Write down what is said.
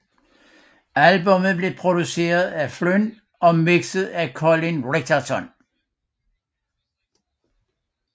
Albummet blev produceret af Flynn og mikset af Colin Richardson